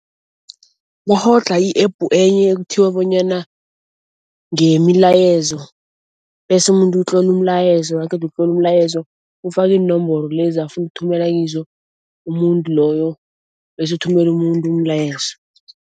Bakghodlha i-App enye ekuthiwa bonyana ngeyemilayezo bese umuntu utlola umlayezo naqeda ukutlola umlayezo ufaka iinomboro lezo afuna ukuthumela kizo umuntu loyo bese uthumela umuntu umlayezo.